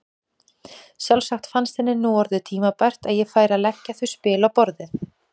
Sjálfsagt fannst henni nú orðið tímabært að ég færi að leggja þau spil á borðið!